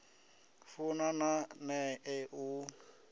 funa na nṋe u a